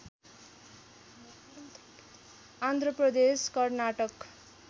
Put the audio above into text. Andhra Pradesh Karnataka